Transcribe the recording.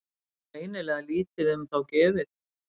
Greinilega lítið um þá gefið.